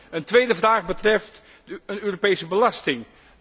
De tweede vraag betreft de Europese belasting.